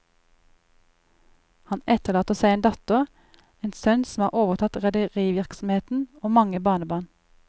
Han etterlater seg en datter, en sønn som har overtatt rederivirksomheten, og mange barnebarn.